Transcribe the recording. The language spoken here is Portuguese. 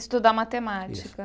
Estudar matemática.